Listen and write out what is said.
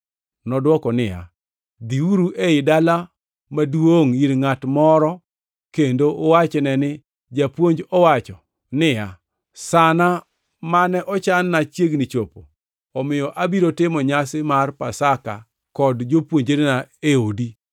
Nodwoko niya, “Dhiuru ei dala maduongʼ ir ngʼat moro kendo uwachne ni, ‘Japuonj wacho niya, sana mane ochanna chiegni chopo, omiyo abiro timo nyasi mar Sap Pasaka kod jopuonjrena e odi.’ ”